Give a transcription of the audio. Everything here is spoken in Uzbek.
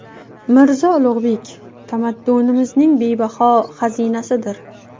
Mirzo Ulug‘bek – tamaddunimizning bebaho xazinasidir.